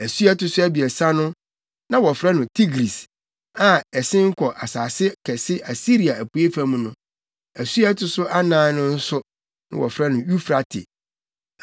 Asu a ɛto so abiɛsa no, na wɔfrɛ no Tigris a ɛsen kɔ asase kɛse Asiria apuei fam no. Asu a ɛto so anan no nso, na wɔfrɛ no Eufrate.